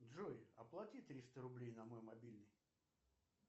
джой оплати триста рублей на мой мобильный